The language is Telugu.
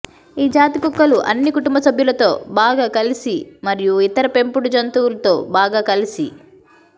ఈ జాతి కుక్కలు అన్ని కుటుంబ సభ్యులతో బాగా కలిసి మరియు ఇతర పెంపుడు జంతువులు తో బాగా కలిసి